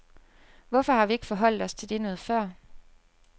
Hvorfor har vi ikke forholdt os til det noget før?